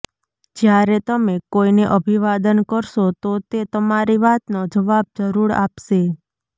જ્યારે તમે કોઈને અભિવાદન કરશો તો તે તમારી વાતનો જવાબ જરૂર આપશે